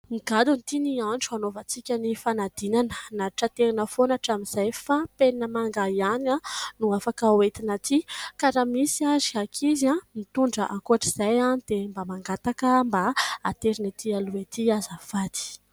Nigadona ity ny andro hanaovantsika ny fanadinana. Nantitraterina foana hatramin'izay fa penina manga ihany no afaka hoentina aty, ka raha misy ary ankizy mitondra ankoatr'izay any dia mba mangataka mba haterina ety aloha ety azafady !